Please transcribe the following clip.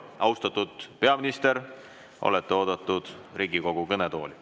Austatud peaminister, olete oodatud Riigikogu kõnetooli.